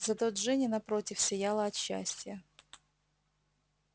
зато джинни напротив сияла от счастья